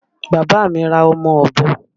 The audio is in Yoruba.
Bàbá mi ra ọmọ Ọ̀bọ